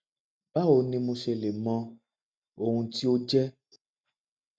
báwo ni mo ṣe lè mọ ohun tí ó jẹ